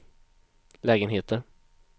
lägenheter